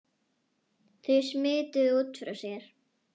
Þau smituðu út frá sér.